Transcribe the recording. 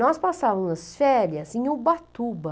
Nós passávamos as férias em Ubatuba.